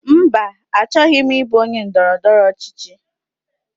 Mba, achọghị m ịbụ onye ndọrọndọrọ ọchịchị.